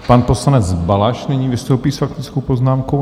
Pan poslanec Balaš nyní vystoupí s faktickou poznámkou.